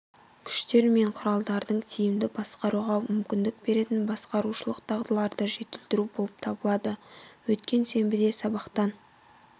күштер мен құралдарды тиімді басқаруға мүмкіндік беретін басқарушылық дағдыларды жетілдіру болып табылады өткен сенбіде сабақтан